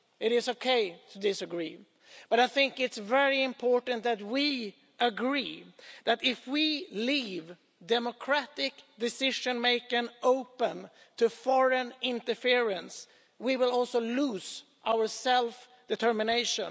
It is OK to disagree, but I think it's very important that we agree that if we leave democratic decision-making open to foreign interference, we will also lose our self-determination.